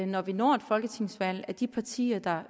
når vi når et folketingsvalg at de partier der